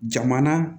Jamana